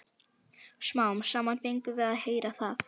Smám saman fengum við að heyra það.